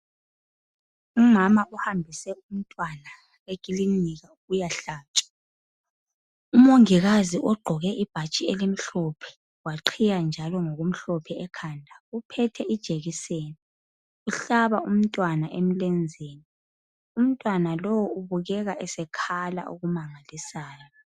Umama uhambise umntwana ekilinika ukuyahlatshwa. Umongikazi ogqoke ibhatshi elimhlophe, waqhiya njalo ngokumhlophe ekhanda .Uphethe ijekiseni. Uhlaba umntwana emlenzeni. Umntwana lo ubukeka esekhala okumangalisayo